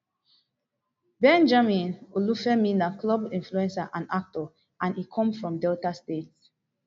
benjamin olufemi na club influencer and actor and e come from delta state